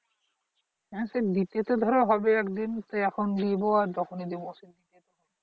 হ্যা সে দিতে তো ধরো হবে একদিন তাই এখন দিবো আর যখনই দিবো অসুবিধে কি